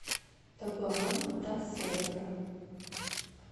табоан да серра